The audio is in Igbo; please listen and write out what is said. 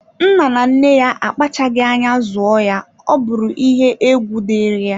Nne na nna ya akpachaghi anya zụọ ya ọbụrụ iye egwu diri ya.